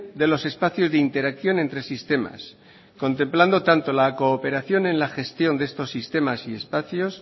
de los espacios de interacción entre sistemas contemplando tanto la cooperación en la gestión de estos sistemas y espacios